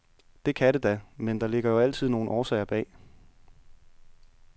Det kan det da, med der ligger jo altid nogle årsager bag.